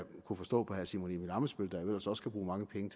kunne forstå på herre simon emil ammitzbøll der jo ellers også kan bruge mange penge